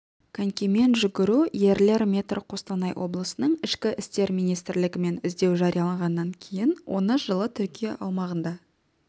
конькимен жүгіру ерлер метр қостанай облысының ішкі істер министрлігімен іздеу жарияланғаннан кейін ол жылы түркия аумағында